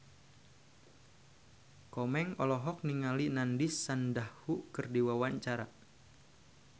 Komeng olohok ningali Nandish Sandhu keur diwawancara